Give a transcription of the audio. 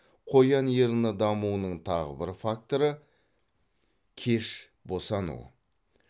қоян ерні дамуының тағы бір факторы кеш босану